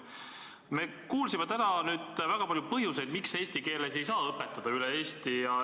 Me kuulsime täna väga palju põhjuseid, miks eesti keeles ei saa õpetada üle Eesti.